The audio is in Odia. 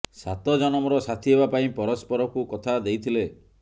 ସାତ ଜନମର ସାଥୀ ହେବା ପାଇଁ ପରସ୍ପରକୁ କଥା ଦେଇଥିଲେ